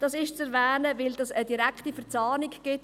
Das ist zu erwähnen, weil dies eine direkte Verzahnung ergibt.